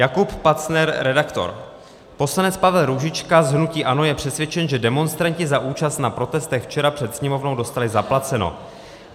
Jakub Pacner, redaktor: Poslanec Pavel Růžička z hnutí ANO je přesvědčen, že demonstranti za účast na protestech včera před sněmovnou dostali zaplaceno.